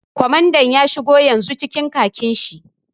Kwamandan ya shigo yanzu cikin khakin shi